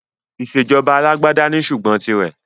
Ìsèjọba alàgbàda ní ṣùgbọ́n tì rẹ̀.